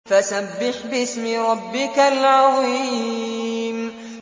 فَسَبِّحْ بِاسْمِ رَبِّكَ الْعَظِيمِ